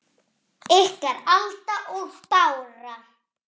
Ykkar, Alda og Bára.